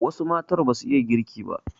Wasu matan basu iya girki ba